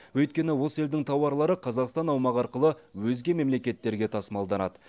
өйткені осы елдің тауарлары қазақстан аумағы арқылы өзге мемлекеттерге тасымалданады